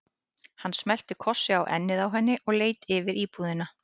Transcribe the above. Hann smellti kossi á ennið á henni og leit yfir íbúðina.